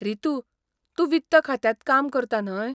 रितू, तूं वित्त खात्यांत काम करता न्हय?